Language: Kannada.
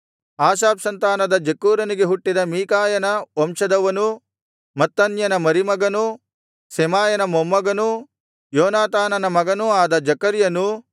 ಆಸಾಫ್ ಸಂತಾನದ ಜಕ್ಕೂರನಿಗೆ ಹುಟ್ಟಿದ ಮೀಕಾಯನ ವಂಶದವನೂ ಮತ್ತನ್ಯನ ಮರಿಮಗನೂ ಶೆಮಾಯನ ಮೊಮ್ಮಗನೂ ಯೋನಾತಾನನ ಮಗನೂ ಆದ ಜೆಕರ್ಯನೂ